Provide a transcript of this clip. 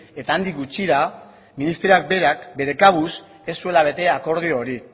eta handik gutxira ministerioak berak bere kabuz ez zuela bete akordio hori